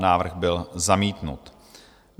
Návrh byl zamítnut.